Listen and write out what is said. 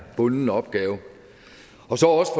bunden opgave